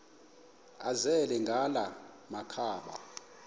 azele ngala makhaba